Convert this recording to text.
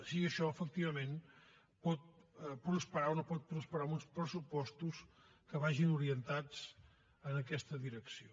si això efectivament pot prosperar o no pot prosperar amb uns pressupostos que vagin orientats en aquesta direcció